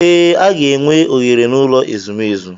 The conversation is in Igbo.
Ee, a ga-enwe oghere n'ụlọ ezumezu.